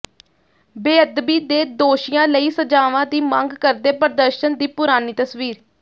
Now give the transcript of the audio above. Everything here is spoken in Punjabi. ਬੇਅਦਬੀ ਦੇ ਦੋਸ਼ੀਆਂ ਲਈ ਸਜ਼ਾਵਾਂ ਦੀ ਮੰਗ ਕਰਦੇ ਪ੍ਰਦਰਸ਼ਨ ਦੀ ਪੁਰਾਣੀ ਤਸਵੀਰ